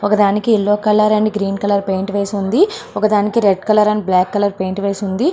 ఒక దానికి yellow colour and green colour painting వేసి ఉంది. ఒక దానికి red colour and black colour paint వేసి ఉంది.